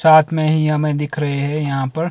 साथ में ही हमें दिख रहे हैं यहां पर--